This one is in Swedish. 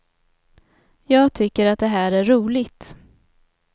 Jag tycker att det här är roligt.